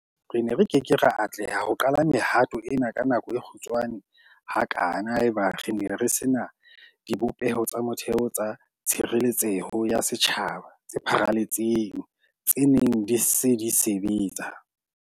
Re ne re ke ke ra atleha ho qala mehato ena ka nako e kgutshwane hakana haeba re ne re se na dibopeho tsa motheo tsa tshireletseho ya setjhaba tse pharaletseng tse neng di se di sebetsa.